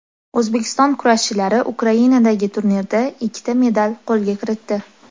O‘zbekiston kurashchilari Ukrainadagi turnirda ikkita medal qo‘lga kiritdi.